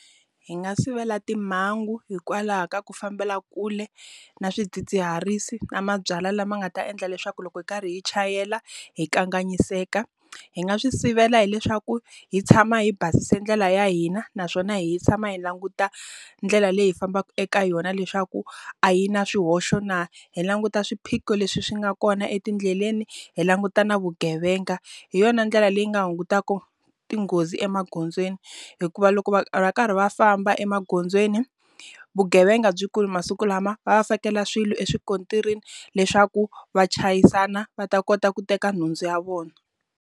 Hi nga sivela timhangu hikwalaho ka ku fambela kule na swidzidziharisi na mabyalwa lama nga ta endla leswaku loko hi karhi hi chayela hi kanganyiseka. Hi nga swi sivela hileswaku hi tshama hi basise ndlela ya hina, naswona hi tshama hi languta ndlela leyi fambaka eka yona leswaku a yi na swihoxo na? Hi languta swiphiqo leswi swi nga kona etindleleni, hi languta na vugevenga. Hi yona ndlela leyi nga hungutaka tinghozi emagondzweni. Hikuva loko va ri karhi va famba emagondzweni, vugevenga byi kulu masiku lama. Va va fikela swilo eswikontirini leswaku va chayisana va ta kota ku teka nhundzu ya vona.